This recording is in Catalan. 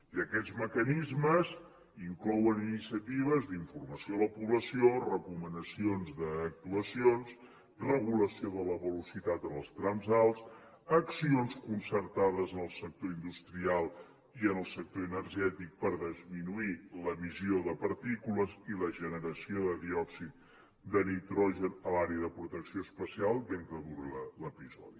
i aquests mecanismes inclouen iniciatives d’informació a la població recomanacions d’actuacions regulació de la velocitat en els trams alts accions concertades en el sector industrial i en el sector energètic per disminuir l’emissió de partícules i la generació de diòxid de nitrogen a l’àrea de protecció especial mentre dura l’episodi